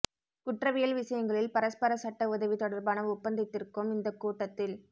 குற்றவியல் விஷயங்களில் பரஸ்பர சட்ட உதவி தொடர்பான ஒப்பந்தத்திற்கும் இந்தக் கூட்டத்தில்